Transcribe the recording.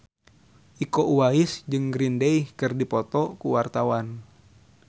Iko Uwais jeung Green Day keur dipoto ku wartawan